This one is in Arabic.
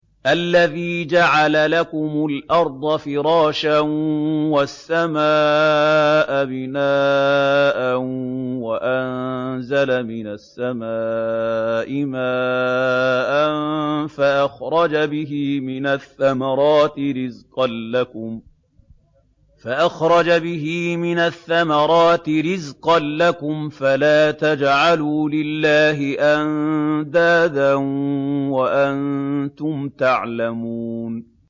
الَّذِي جَعَلَ لَكُمُ الْأَرْضَ فِرَاشًا وَالسَّمَاءَ بِنَاءً وَأَنزَلَ مِنَ السَّمَاءِ مَاءً فَأَخْرَجَ بِهِ مِنَ الثَّمَرَاتِ رِزْقًا لَّكُمْ ۖ فَلَا تَجْعَلُوا لِلَّهِ أَندَادًا وَأَنتُمْ تَعْلَمُونَ